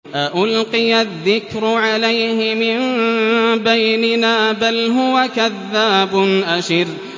أَأُلْقِيَ الذِّكْرُ عَلَيْهِ مِن بَيْنِنَا بَلْ هُوَ كَذَّابٌ أَشِرٌ